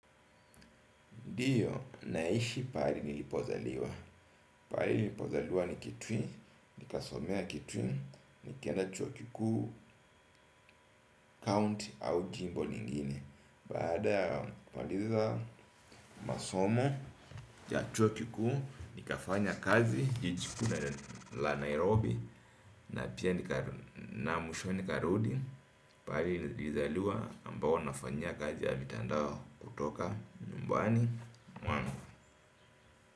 Ndiyo naishi pahali nilipozaliwa, pahali nilipozaliwa ni kitui, nikasomea kitui, nikaenda chuo kikuu, county au jimbo lingine. Baada ya kumaliza masomo ya chuo kikuu, nikafanya kazi, jiji kui la Nairobi, na pia na mwisho nikarudi, pahali nilizaliwa ambao nafanyia kazi ya mitandao kutoka nymbuani.